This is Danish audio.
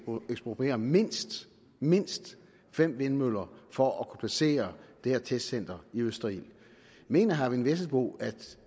ekspropriere mindst mindst fem vindmøller for at kunne placere det her testcenter i østerild mener herre eyvind vesselbo at